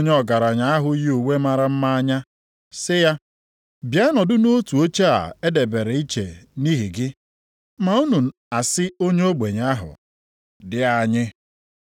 ọ bụrụ na unu elee onye ọgaranya ahụ yi uwe mara mma anya sị ya, “Bịa nọdụ nʼotu oche a e debere iche nʼihi gị,” ma unu asị onye ogbenye ahụ, “Di anyị, guzo nʼebe ahụ,” maọbụ “Bịa nọdụ ala nʼakụkụ ebe a ụkwụ m dị,”